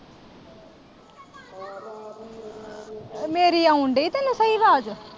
ਉਹ ਮੇਰੀ ਆਉਣ ਦਈ ਤੈਨੂੰ ਕੋਈ ਆਵਾਜ਼।